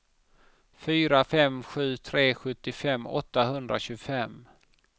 fyra fem sju tre sjuttiofem åttahundratjugofem